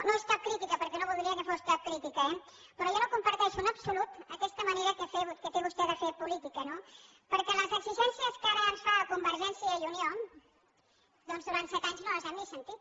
no és cap crítica perquè no voldria que fos cap crítica eh però jo no comparteixo en absolut aquesta manera que té vostè de fer política no perquè les exigències que ara ens fa a convergència i unió doncs durant set anys no les hem ni sentit